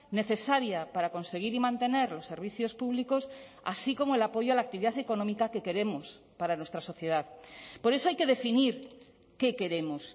necesaria para conseguir y mantener los servicios públicos así como el apoyo a la actividad económica que queremos para nuestra sociedad por eso hay que definir qué queremos